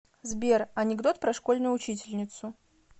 сбер анекдот про школьную учительницу